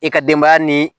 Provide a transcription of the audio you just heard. I ka denbaya ni